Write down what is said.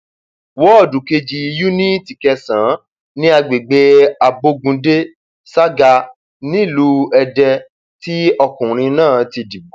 wọọdù kejì yuniiti kẹsànán ní agbègbè abogunde saga nílùú èdè tí ọkùnrin náà ti dìbò